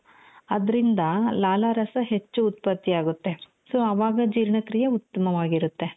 ಅದ್ರಿಂದ ಲಾಲಾರಸ ಹೆಚ್ಚು ಉತ್ಪತ್ತಿಯಾಗುತ್ತೆ so ಆವಾಗ ಜೀರ್ಣಕ್ರೀಯೇ ಉತ್ತಮವಾಗಿರುತ್ತೆ.